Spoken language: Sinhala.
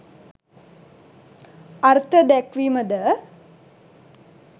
අර්ථ දැක්වීම ද